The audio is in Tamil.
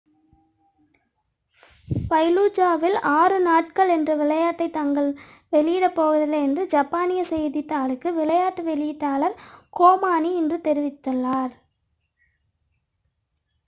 ஃபலூஜாவில் ஆறு நாட்கள் என்ற விளையாட்டை தாங்கள் வெளியிடப் போவதில்லை என்று ஜப்பானிய செய்தித்தாளுக்கு விளையாட்டு வெளியீட்டாளர் கோனாமி இன்று தெரிவித்தார்